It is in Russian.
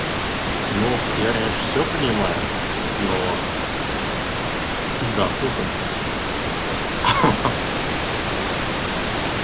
ну я конечно все понимаю но здравствуйте ха-ха